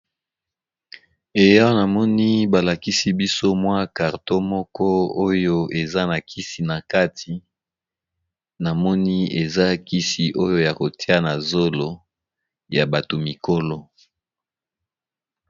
Eya na moni balakisi biso mwa carton moko oyo eza na kisi na kati namoni eza kisi oyo ya kotia na zolo ya bato mikolo.